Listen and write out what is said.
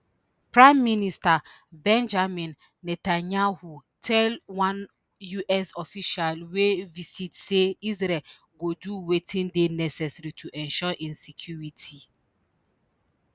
prime minister benjamin netanyahu tell one us official wey visit say israel go do wetin dey necessary to ensure im security